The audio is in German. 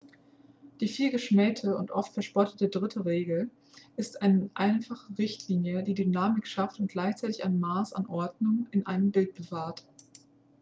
die vielgeschmähte und oft verspottete drittel-regel ist eine einfache richtlinie die dynamik schafft und gleichzeitig ein maß an ordnung in einem bild bewahrt